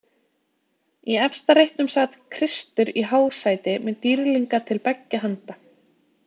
Í efsta reitnum sat Kristur í hásæti með dýrlinga til beggja handa.